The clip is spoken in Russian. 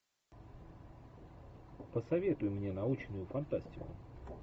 посоветуй мне научную фантастику